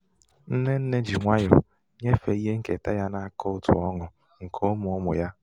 nne nne ji nwayọ nyefee um ihe nketa ya nakaụtụ ọnụ́ nke ụmụụmụ ya